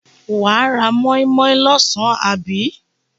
Wà á móínmóín lọ́sàn àbí?